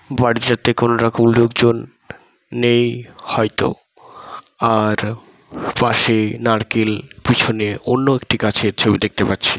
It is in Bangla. বাড়িটাতে কোনোরকম লোকজন নেই হয়তো আর পাশে নারকেল পিছনে অন্য একটি গাছের ছবি দেখতে পাচ্ছি |